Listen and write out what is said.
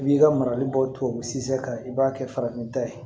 I b'i ka marali bɔ tubabu sin kan i b'a kɛ farafin ta ye